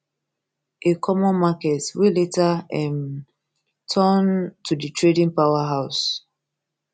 a common market wey later um turn um to di trading powerhouse e